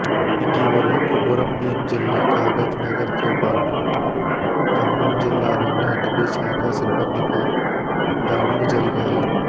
ఇటీవల కొమురం భీం జిల్లా కాగజ్ నగర్ తో పాటు ఖమ్మం జిల్లాలోను అటవీ శాఖ సిబ్బందిపై దాడులు జరిగాయి